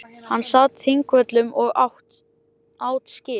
Hann sat á Þingvöllum og át skyr.